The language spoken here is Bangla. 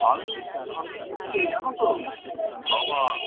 আমি ঢুকতেই জানো তো বাবা